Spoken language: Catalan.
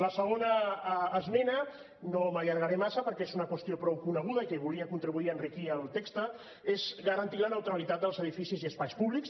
la segona esmena no m’allargaré massa perquè és una qüestió prou coneguda i que volia contribuir a enriquir el text és garantir la neutralitat dels edificis i espais públics